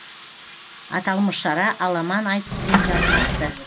аталмыш шара аламан айтыспен жалғасты